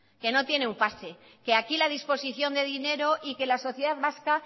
que no tiene un pase que aquí la disposición de dinero y que la sociedad vasca